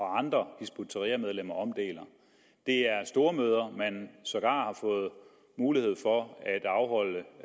andre hizb ut tahrir medlemmer omdeler det er stormøder som man sågar har fået mulighed for at afholde